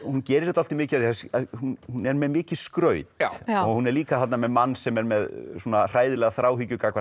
hún gerir dálítið mikið af því að hún hún er með mikið skraut og hún er líka þarna með mann sem er með svona hræðilega þráhyggju gagnvart